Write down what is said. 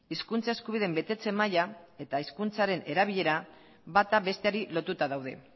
hizkuntza eskubideen betetze maila eta hizkuntzaren erabilera bata besteari lotuta daude